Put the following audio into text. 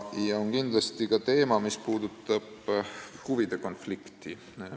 Siin on kindlasti ka huvide konflikti teema.